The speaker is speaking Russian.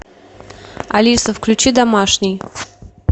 алиса включи домашний